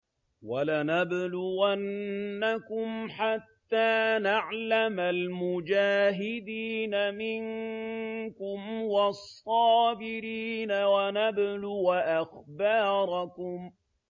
وَلَنَبْلُوَنَّكُمْ حَتَّىٰ نَعْلَمَ الْمُجَاهِدِينَ مِنكُمْ وَالصَّابِرِينَ وَنَبْلُوَ أَخْبَارَكُمْ